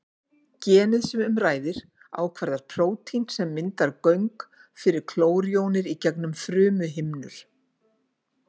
Genið sem um ræðir ákvarðar prótín sem myndar göng fyrir klórjónir í gegnum frumuhimnur.